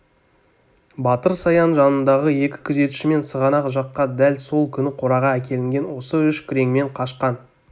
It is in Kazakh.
батыр саян жанындағы екі күзетшімен сығанақ жаққа дәл сол күні қораға әкелінген осы үш күреңмен қашқан